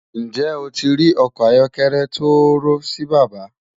Njẹ́ ó ti rí ọkọ ayọ̀kẹlẹ̀ tọ́ọ̣́ọ̣̀rọ̀ sí bàbá?